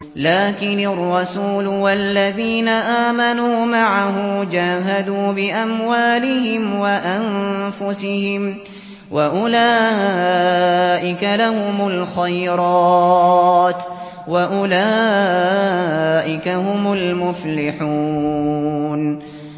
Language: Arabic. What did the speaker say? لَٰكِنِ الرَّسُولُ وَالَّذِينَ آمَنُوا مَعَهُ جَاهَدُوا بِأَمْوَالِهِمْ وَأَنفُسِهِمْ ۚ وَأُولَٰئِكَ لَهُمُ الْخَيْرَاتُ ۖ وَأُولَٰئِكَ هُمُ الْمُفْلِحُونَ